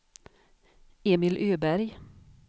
Emil Öberg